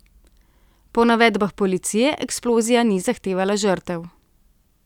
Po navedbah policije eksplozija ni zahtevala žrtev.